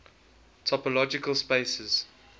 topological spaces